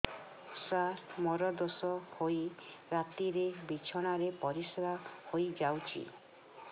ସାର ମୋର ଦୋଷ ହୋଇ ରାତିରେ ବିଛଣାରେ ପରିସ୍ରା ହୋଇ ଯାଉଛି